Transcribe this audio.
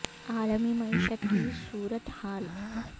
عا لمی معیشت کی صو ر ت حا ل